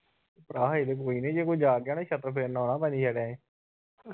ਹਾਂ ਹਜੇ ਤਾ ਕੋਈ ਨਹੀਂ ਜੇ ਕੋਈ ਜਾਗ ਗਿਆ ਤਾ ਛਿੱਤਰ ਫੇਰਨ ਆਉਣਾ ਭਾਜੀ ਹਾਡੇ ਨੇ